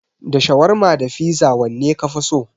Da shawarma da fiza wanne kafi so?